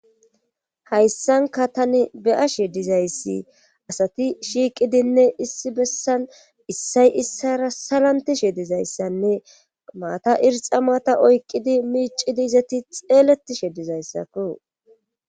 Hayssanka tani beyashe dizayssi asati shiiqidinne issi bessan issay issara salantishe dizayssanne maata irxa maata oykqidi miicidi izati xeeletishe dizayssakko